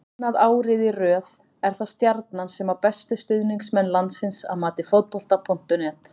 Annað árið í röð er það Stjarnan sem á bestu stuðningsmenn landsins að mati Fótbolta.net.